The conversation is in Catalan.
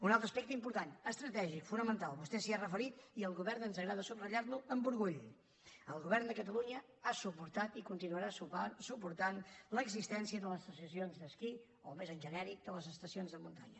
un altre aspecte important estratègic fonamental vostè s’hi ha referit i al govern ens agrada subratllar lo amb orgull el govern de catalunya ha suportat i continuarà suportant l’existència de les estacions d’esquí o més en genèric de les estacions de muntanya